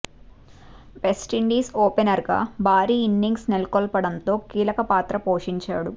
West Indies opener గా భారీ innings నెలకొల్పడంతో కీలక పాత్ర పోషించాడు